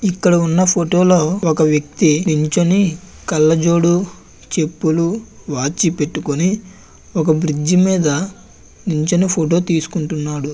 ఇక్కడ ఉన్న ఫొటో లో ఒక వ్యక్తి నించుని కళ్లజోడు చెప్పులు వాచీ పెట్టుకుని ఒక బ్రిడ్జ్ మీద నుంచుని ఫొటో తీసుకుంటున్నాడు.